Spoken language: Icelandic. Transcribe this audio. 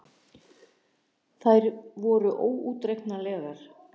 Þær voru óútreiknanlegar.